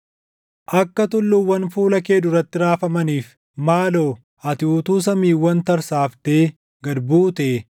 Akka tulluuwwan fuula kee duratti raafamaniif, maaloo ati utuu samiiwwan tarsaaftee gad buutee!